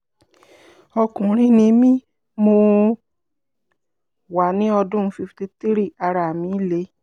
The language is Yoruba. ọkùnrin ni mí mo wà ní ọdún cs] fifty-three ara mi le